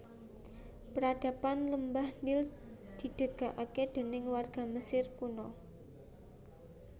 Peradaban lembah Nil didegake déning warga Mesir kunoa